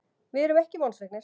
Við erum ekki vonsviknir.